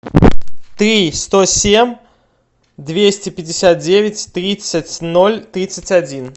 три сто семь двести пятьдесят девять тридцать ноль тридцать один